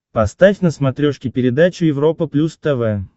поставь на смотрешке передачу европа плюс тв